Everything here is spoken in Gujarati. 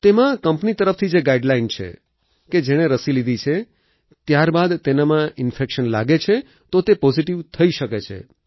તેમાં કંપની તરફથી જ ગાઈડલાઈન છે કે જેણે રસી લીધી છે ત્યારબાદ તેનામાં ઈન્ફેક્શન લાગે છે તો તે પોઝીટીવ થઈ શકે છે